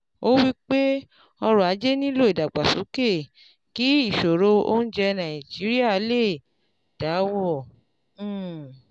Ó wípé ọrọ̀ ajé nílò ìdàgbàsókè kí ìṣòro oúnjẹ Nàìjíríà lè dáwọ̀ um